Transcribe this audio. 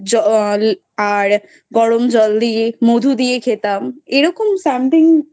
জল আর গরম জল দিয়ে মধু দিয়ে খেতাম. এরকম Something